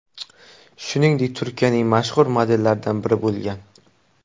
Shuningdek, Turkiyaning mashhur modellaridan biri bo‘lgan.